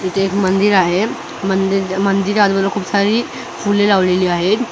इथं एक मंदिर आहे मंदिर मंदिरावर खूप सारी फुले लावलेली आहेत.